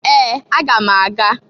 Ee! Aga m aga.